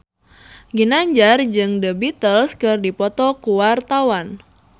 Ginanjar jeung The Beatles keur dipoto ku wartawan